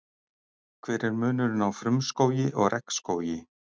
Hver er munurinn á frumskógi og regnskógi?